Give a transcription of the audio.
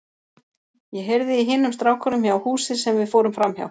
Ég heyrði í hinum strákunum hjá húsi sem við fórum framhjá.